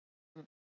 Allt um